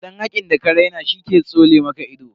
Dan hakkin da ka raina she ke tsole maka ido.